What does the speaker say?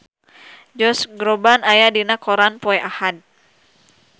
Josh Groban aya dina koran poe Ahad